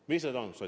Mis need on?